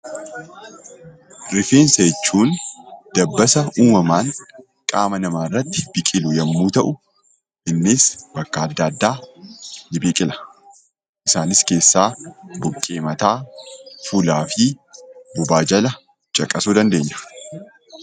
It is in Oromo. Rifeensa jechuun dabbasaa uumamaan qaama namaa irratti biqilu yommuu ta'u, innis bakka adda addaatti biqila. Isaan keessaa buqqee mataa, fuulaa fi bobaa jala caqasuu dandeenya.